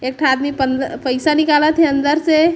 एक ठा आदमी पईसा निकालत हे अंदर से--